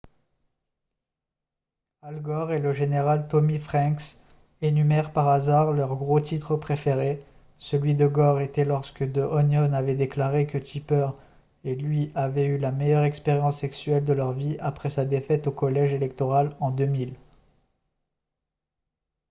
al gore et le général tommy franks énumèrent par hasard leurs gros titres préférés celui de gore était lorsque the onion avait déclaré que tipper et lui avaient eu la meilleure expérience sexuelle de leur vie après sa défaite au collège électoral en 2000